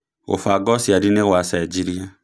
Gubanga ũciari nĩgua cenjirie